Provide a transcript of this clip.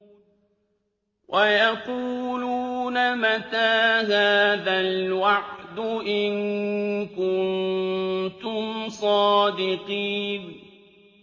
وَيَقُولُونَ مَتَىٰ هَٰذَا الْوَعْدُ إِن كُنتُمْ صَادِقِينَ